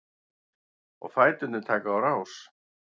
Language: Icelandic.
Og fæturnir taka á rás.